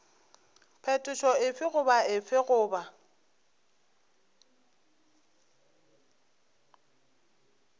phetošo efe goba efe goba